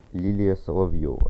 лилия соловьева